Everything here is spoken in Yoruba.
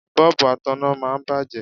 Bọ́ọ̀bù ataná máa ń bàjẹ́.